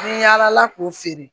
Ni yaalala k'u feere